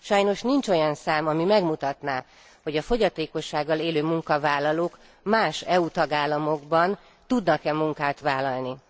Sajnos nincs olyan szám, ami megmutatná, hogy a fogyatékossággal élő munkavállalók más EU tagállamokban tudnak e munkát vállalni.